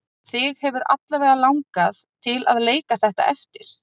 En þig hefur alla vega langað til að leika þetta eftir?